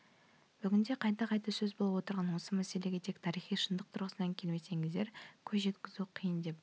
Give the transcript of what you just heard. бүгінде қайта сөз болып отырған осы мәселеге тек тарихи шындық тұрғысынан келмесеңіздер көз жеткізу қиын деп